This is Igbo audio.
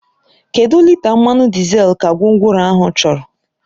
Kedụ lita mmanụ dizel ka gwongworo ahụ chọrọ?